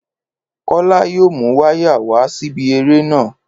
Kólá yóò mu wáyà wa síbi eré náà